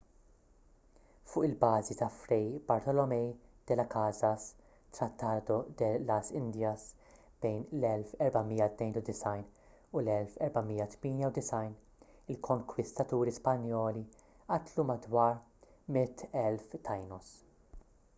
fuq il-bażi ta’ fray bartolomé de las casas tratado de las indias bejn l-1492 u l-1498 il-konkwistaturi spanjoli qatlu madwar 100,000 taínos